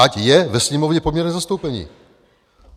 Ať je ve Sněmovně poměrné zastoupení.